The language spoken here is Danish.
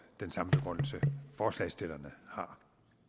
den samme begrundelse forslagsstillerne har